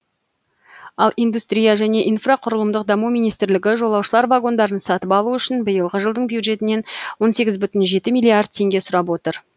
ал индустрия және инфрақұрылымдық даму министрлігі жолаушылар вагондарын сатып алу үшін биылғы жылдың бюджетінен он сегіз бүтін жеті миллиард теңге сұрап отыр